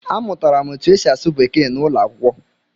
Amụtara m otú e si asụ Bekee n'ụlọ akwụkwọ